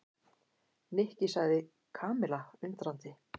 Nikki sagði Kamilla undrandi.